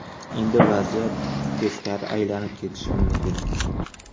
Endi vaziyat teskari aylanib ketishi mumkin.